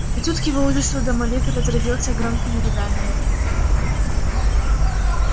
и тут к его ужасу домовик разразился громкими рыданиями